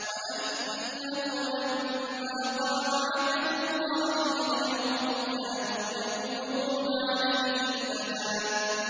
وَأَنَّهُ لَمَّا قَامَ عَبْدُ اللَّهِ يَدْعُوهُ كَادُوا يَكُونُونَ عَلَيْهِ لِبَدًا